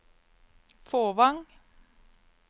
Fåvang